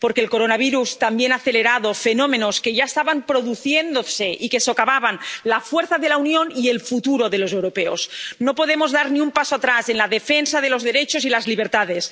Porque el coronavirus también ha acelerado fenómenos que ya estaban produciéndose y que socavaban la fuerza de la Unión y el futuro de los europeos. No podemos dar ni un paso atrás en la defensa de los derechos y las libertades.